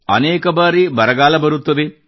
ಅನೇಕ ಬಾರಿ ಬರಗಾಲ ಬರುತ್ತದೆ